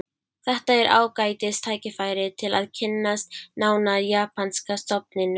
Þetta er ágætis tækifæri til að kynnast nánar japanska stofninum